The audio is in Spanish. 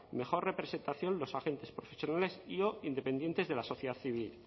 mejor representación los agentes profesionales y o dependientes de la sociedad civil